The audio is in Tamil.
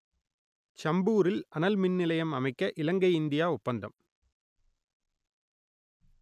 சம்பூரில் அனல் மின்நிலையம் அமைக்க இலங்கை இந்தியா ஒப்பந்தம்